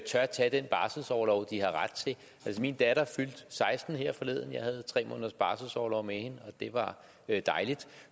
tage den barselsorlov de har ret til altså min datter fyldte seksten år her forleden og jeg havde tre måneders barselsorlov med hende og det var dejligt